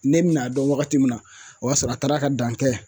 Ne bi n'a dɔn wagati min na o y'a sɔrɔ a taara ka dan kɛ